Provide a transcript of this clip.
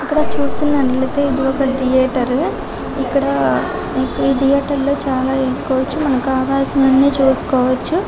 ఇక్కడ చూస్తున్నట్లయితే ఇది ఒక ధియేటర్ ఇక్కడ ఈ థియేటర్లో చాలా చూసుకోవచ్చు మనకు కావాల్సినవన్నీ చూసుకోవచ్చు.